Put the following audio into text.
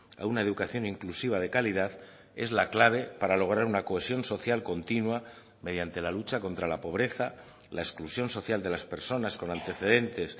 a una educación inclusiva de calidad es la clave para lograr una cohesión social continua mediante la lucha contra la pobreza la exclusión social de las personas con antecedentes